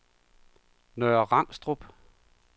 Nørre Rangstrup